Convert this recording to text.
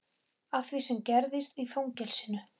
Af því sem gerðist í fangelsinu.